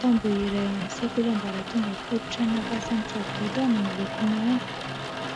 Tamboho iray ao amin'ny sekoly ambaratonga fototra any Ampasanisadoda no miloko manga.